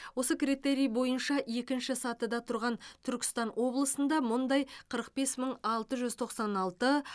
осы критерий бойынша екінші сатыда тұрған түркістан облысында мұндай қырық бес мың алты жүз тоқсан алты